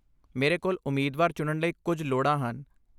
ਮੇਰੇ ਕੋਲ ਉਮੀਦਵਾਰ ਚੁਣਨ ਲਈ ਕੁੱਝ ਲੋੜ੍ਹਾਂ ਹਨ।